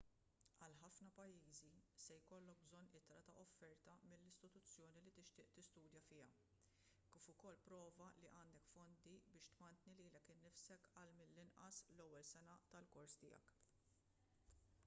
għal ħafna pajjiżi se jkollok bżonn ittra ta' offerta mill-istituzzjoni li tixtieq tistudja fiha kif ukoll prova li għandek fondi biex tmantni lilek innifsek għal mill-inqas l-ewwel sena tal-kors tiegħek